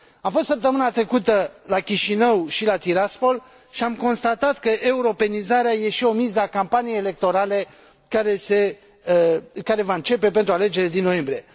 Am fost săptămâna trecută la Chișinău și la Tiraspol și am constatat că europenizarea e și o miză a campaniei electorale care va începe pentru alegerile din noiembrie.